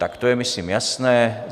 Tak to je myslím jasné.